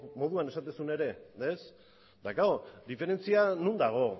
moduan esaten zuen ere eta klaro diferentzia non dago